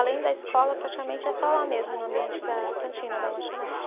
Além da escola, praticamente é só lá mesmo, no ambiente da cantina, da lanchonete.